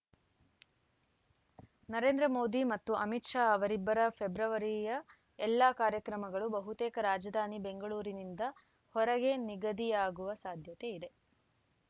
ನರೇಂದ್ರ ಮೋದಿ ಮತ್ತು ಅಮಿತ್‌ ಶಾ ಅವರಿಬ್ಬರ ಫೆಬ್ರವರಿಯ ಎಲ್ಲ ಕಾರ್ಯಕ್ರಮಗಳು ಬಹುತೇಕ ರಾಜಧಾನಿ ಬೆಂಗಳೂರಿನಿಂದ ಹೊರಗೆ ನಿಗದಿಯಾಗುವ ಸಾಧ್ಯತೆಯಿದೆ